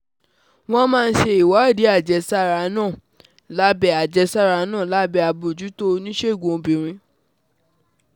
Wọ́n máa ń ṣe ìwádìí àjẹsára náà lábẹ́ àjẹsára náà lábẹ́ àbójútó oníṣègùn obìnrin